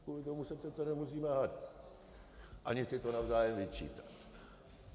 Kvůli tomu se přece nemusíme hádat ani si to navzájem vyčítat.